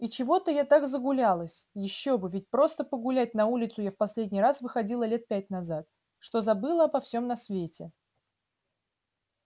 и чего-то я так загулялась ещё бы ведь просто погулять на улицу я в последний раз выходила лет пять назад что забыла обо всём на свете